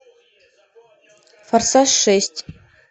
форсаж шесть